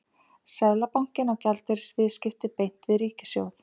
Seðlabankinn á gjaldeyrisviðskipti beint við ríkissjóð.